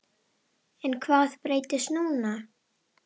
En hvað breytist núna?